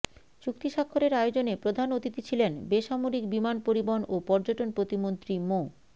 চুক্তিস্বাক্ষরের আয়োজনে প্রধান অতিথি ছিলেন বেসামরিক বিমান পরিবহন ও পর্যটন প্রতিমন্ত্রী মো